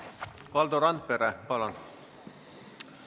Valdo Randpere, palun!